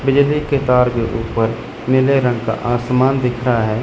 बिजली के तार के ऊपर नीले रंग का आसमान दिख रहा है।